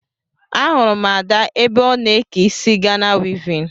Ahụrụ m Ada m ebe ọ n'eke isi Ghana wivin